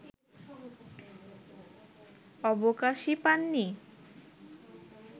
অবকাশই পাননি